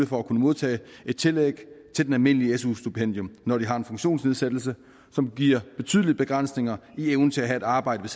for at kunne modtage et tillæg til det almindelige su stipendium når de har en funktionsnedsættelse som giver betydelige begrænsninger i evnen til at have et arbejde